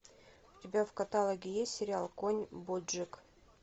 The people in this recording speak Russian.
у тебя в каталоге есть сериал конь боджек